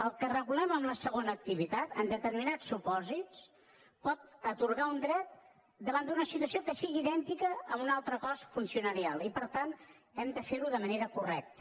el que regulem amb la segona activitat en determinats supòsits pot atorgar un dret davant d’una situació que sigui idèntica en un altre cos funcionarial i per tant hem de fer ho de manera correcta